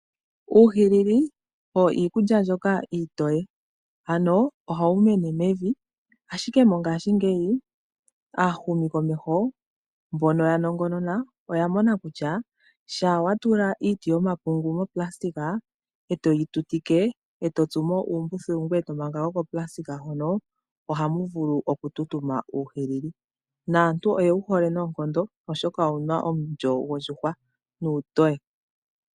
Uuhilili owo iikulya mbyoka iitoye. Anoo ohawumene mevi ashike mongaashingeyi aahumi komeho mbono yanongonona oyamona kutya, shaa watula iiti yomapungu mo pulasitika etoyitutike etotsumo uumbuthulu ngweye tomanga ko kopulasitka hono ohamuvulu okututuma uuhilili. Naantu oyewuhole noonkondo oshoka owuna omulyo gwondjuhwa nuutoye.